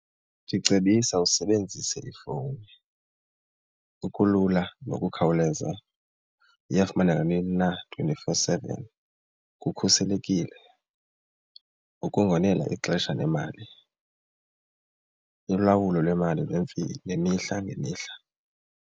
Ndicebisa usebenzise ifowuni okulula nokukhawuleza, iyafumaneka nanini na twenty-four seven, kukhuselekile ukungonela ixesha nemali, ulawulo lwemali nemihla ngemihla.